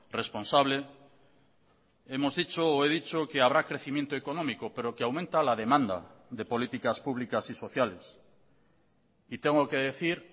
responsable hemos dicho o he dicho que habrá crecimiento económico pero que aumenta la demanda de políticas públicas y sociales y tengo que decir